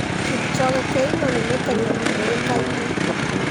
Kipchoge Keino nĩ mũteng'eri ũĩkaĩne.